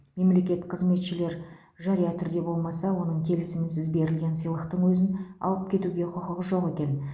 мемлекеттік қызметшілер жария түрде болмаса оның келісімінсіз берілген сыйлықтың өзін алып кетуге құқығы жоқ екен